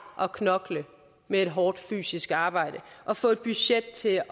at knokle med et hårdt fysisk arbejde og få et budget til